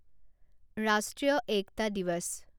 ৰাষ্ট্ৰীয় একটা দিৱাচ